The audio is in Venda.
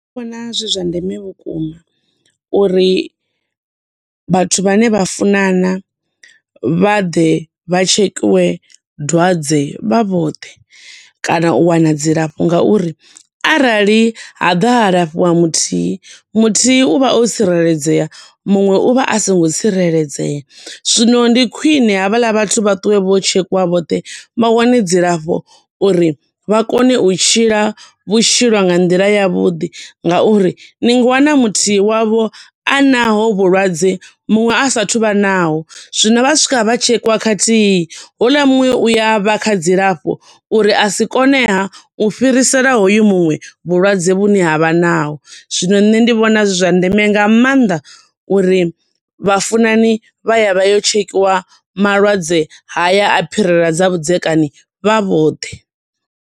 Vhona zwi zwa ndeme vhukuma uri vhathu vhane vhafunana vha ḓe vha tshekhiwe dwadze vha vhoṱhe, kana u wana dzi lafho nga uri arali ha ḓa ha lafhiwa muthihi, muthihi u vha o tsireledzea muṅwe u vha asongo tsireledzea. Zwino ndi khwine havhaḽa vhathu vha ṱuwe vha ye u tshekiwa vhoṱhe vha wane dzi lafho uri vha kone u tshila vhutshilo nga nḓila ya vhuḓi, nga uri ni nga wana muthihi wa vho anaho vhulwadze, muṅwe a sathu vha naho. Zwino vha swika vha tshekhiwa khathihi, houḽa muṅwe u ya vha kha dzilafho uri asi kone ha u fhirisela hoyu muṅwe vhulwadze hune avha naho. Zwino nṋe ndi vhona zwi zwa ndeme nga maanḓa, uri vhafunani vhaye vha ye u tshekhiwa malwadze haya a phirela dza vhudzekani vha vhoṱhe.